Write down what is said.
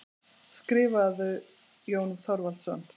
Skrifarðu, Jón Þorvaldsson?